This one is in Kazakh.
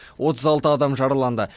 отыз алты адам жараланды